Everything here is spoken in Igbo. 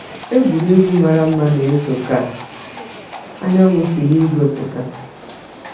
Egwurugwu mara mma na-eso ka anyanwụ si n’igwe pụta.